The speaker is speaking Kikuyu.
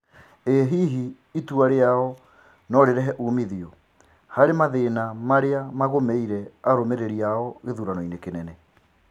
O-hihi, itua rĩao no-rĩrehe ũmithio harĩ mathĩna mamagũmĩire arũmĩrĩri ao gĩthuranoinĩ kĩnene?